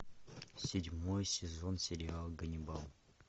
седьмой сезон сериал ганнибал